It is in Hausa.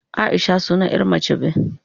Aisha sunan ƴa mace be